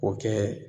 O kɛ